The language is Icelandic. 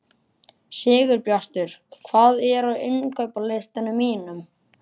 Sigurbjartur, hvað er á innkaupalistanum mínum?